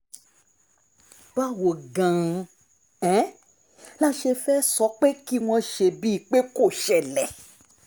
báwo gan-an la ṣe fẹ́ẹ́ sọ pé kí wọ́n ṣe bíi pé kò ṣẹlẹ̀